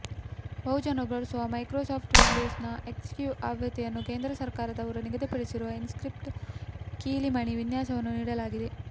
ಬಹುಜನರು ಬಳಸುವ ಮೈಕ್ರೋಸಾಫ್ಟ್ ವಿಂಡೋಸ್ನ ಎಕ್ಸ್ಪಿ ಆವೃತ್ತಿಯಲ್ಲಿ ಕೇಂದ್ರ ಸರಕಾರದವರು ನಿಗದಿಪಡಿಸಿರುವ ಇನ್ಸ್ಕ್ರಿಪ್ಟ್ ಕೀಲಿಮಣೆ ವಿನ್ಯಾಸವನ್ನು ನೀಡಲಾಗಿದೆ